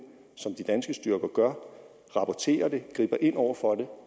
som de danske styrker gør rapporterer det og griber ind over for